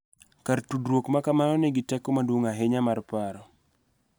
Kar tudruok ma kamano nigi teko maduong� ahinya mar paro.